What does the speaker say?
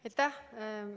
Aitäh!